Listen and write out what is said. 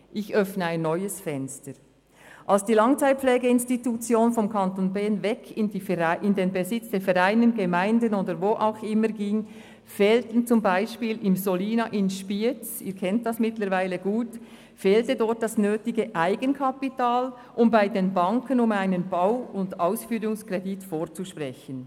– Ich öffne ein neues Fenster: Als die Langzeitpflegeinstitutionen vom Kanton Bern weg in den Besitz von Vereinen, Gemeinden oder von wem auch immer übergingen, fehlte zum Beispiel im Solina in Spiez – Sie kennen das Solina mittlerweile gut – das nötige Eigenkapital, um bei den Banken für einen Bau- und Ausführungskredit vorzusprechen.